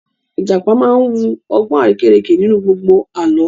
Ìjàpá máa wu ọgbọ́n arérekè nínú gbogbo Àlọ́